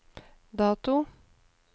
dato